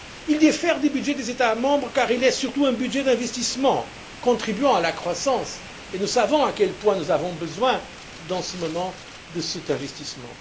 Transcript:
Il diffère du budget des États membres car il est surtout un budget d'investissement, contribuant à la croissance, et nous savons à quel point nous avons besoin, en ce moment, de cet investissement.